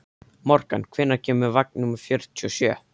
Morgan, hvenær kemur vagn númer fjörutíu og sjö?